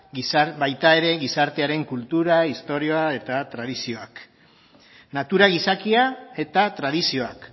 baita ere gizartearen kultura istorioa eta tradizioak natura gizakiak eta tradizioak